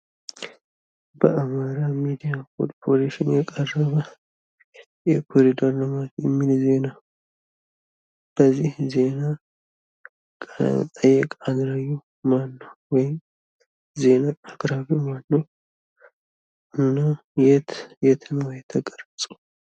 በአማራ ሚዲያ ኮርፖሬሽን የቀረበ የኮሪደር ልማት የሚል ዜና ፤ በዚህ ዜና አቅራቢው ማነው እና የት ነው የተቀረጸው?